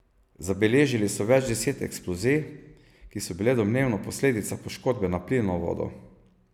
Zabeležili so več deset eksplozij, ki so bile domnevno posledica poškodbe na plinovodu.